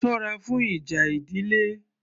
Sọ́ra fún ìjà ìdílé